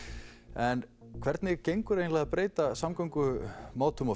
en hvernig gengur að breyta samgöngumátum